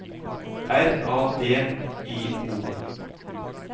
R A D I O